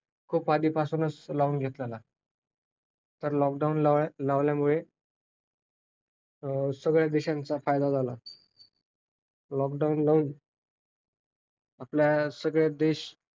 cilmate change जर कशामुळे होते. तर मागच्या काही वर्षांनंतर जेव्हा ताला वाफेच्या engineer चा त्याच्यानंतर औद्योगिक क्रांती झाली. औद्योगिक क्रांतीमुळे अनेक